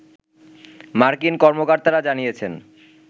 মার্কিন কর্মকর্তারা জানিয়েছেন